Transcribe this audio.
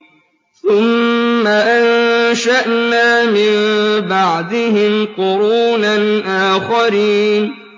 ثُمَّ أَنشَأْنَا مِن بَعْدِهِمْ قُرُونًا آخَرِينَ